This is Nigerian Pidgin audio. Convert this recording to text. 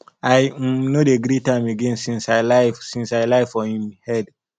i um no dey greet am again since i lie since i lie for im head